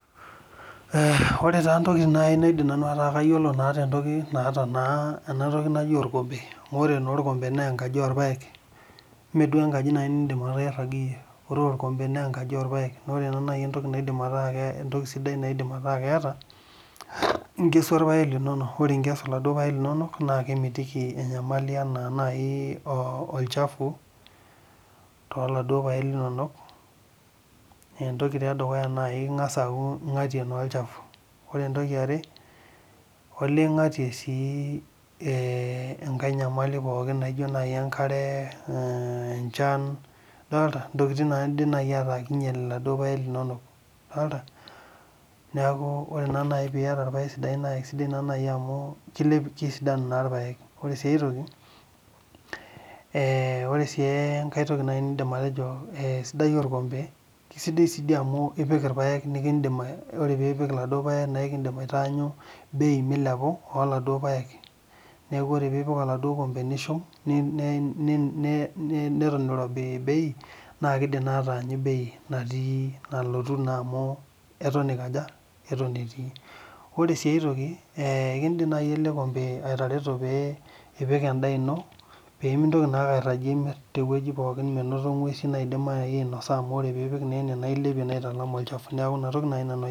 Ee ore entoki naidim ataa kayiolo tenatoki naji orkombe amu ore naa orkombe na enkaji orpaek meduo nai enkaji nindim airaga iyie neaku ore nai enkompe entoki naidim ataa keeta na enkes orpaek linonok na kemitiki nyamalitin naijo olchafu ore entoki edukuya na ingasa aaku ingatie olchafu ore entoki eare na olee ingatie si enkae nyamali pooki naino enkare, enchan ntokitin pooki naidim ataa kinaylie irpaek linonok idolta neaku ore nai piata irpaek sidain na kesidanu irpaek ore si aitoki na sidai orkombe na esidai si amu ore pipik laduo paek omilepu bei neaku ore nai pipik enaduo kombe nishum neton irobi na kidim ataanyu bei naiko aja eton etii ore si atoki kidim elekombe atareto pemetum na ngwesu naidim ainasa amu ore na pipik ene na ilepie na aitalam olchafu neaku inatoki nai nanu